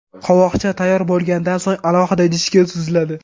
Qovoqcha tayyor bo‘lgandan so‘ng alohida idishga suziladi.